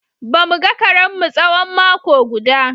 Ba mu ga karenmu tsawon mako guda.